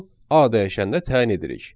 A dəyişənnə təyin edirik.